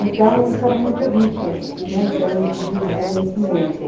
Então, isso era muito rico, né, em termos de conhecimento.